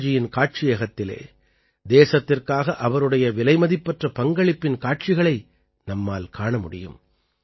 அடல்ஜியின் காட்சியகத்திலே தேசத்திற்காக அவருடைய விலைமதிப்பற்ற பங்களிப்பின் காட்சிகளை நம்மால் காண முடியும்